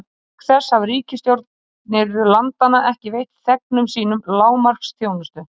Auk þess hafa ríkisstjórnir landanna ekki veitt þegnum sínum lágmarksþjónustu.